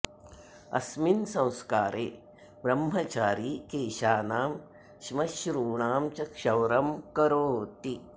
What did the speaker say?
अस्मिन् संस्कारे ब्रह्मचारी केशानां श्मश्रूणां च क्षौरं करोति